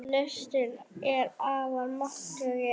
Listin er afar máttugt tæki.